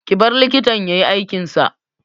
Ki bar likitan ya yi aikin sa!